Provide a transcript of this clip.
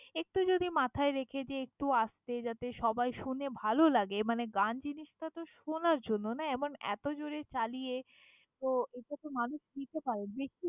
একটু যদি মাথায় রেখে যে একটু আস্তে যাতে সবাই শোনে, ভালো লাগে মানে গান জিনিসটা তো শোনার জন্য না! এমন এতো জোরে চালিয়ে তো এটা তো মানুষ নিতে পারে।